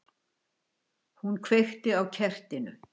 Hún kveikti á kertinu.